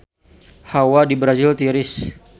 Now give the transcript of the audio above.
Hawa di Brazil tiris